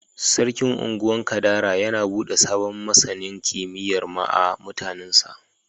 Sarkin Ungwan Kadara yana bude sabon masanin kimiyyar ma'a mutanin sa.